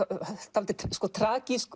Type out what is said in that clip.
dálítið